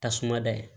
Tasuma dayɛlɛ